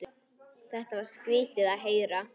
Þetta var skrýtið að heyra.